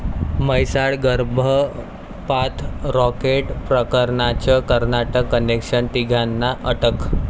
म्हैसाळ गर्भपात रॅकेट प्रकरणाचं कर्नाटक कनेक्शन, तिघांना अटक